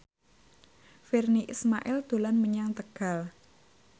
Virnie Ismail dolan menyang Tegal